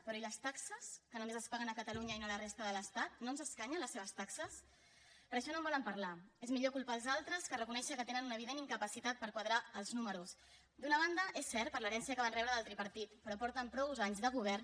però i les taxes que només es paguen a catalunya i no a la resta de l’estat no ens escanyen les seves taxes però d’això no en volen parlar és millor culpar els altres que reconèixer que tenen una evident incapacitat per quadrar els números d’una banda és cert per l’herència del tripartit però porten prou anys de govern